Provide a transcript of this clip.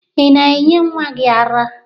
Ị na-enye nwa gị ara?